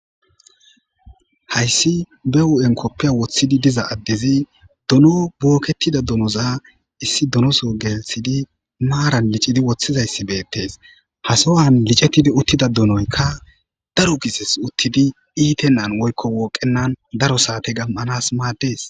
hayssi be wu7en koppiya woththidi diza addezi dono booketida donoza issi donoso gelthidi maaran licidi woththizayssi beettees hasowan licettidi uttida dunoykka daru gises uttidi iite nan woykko wooqenan daro saate gam7anas maaddees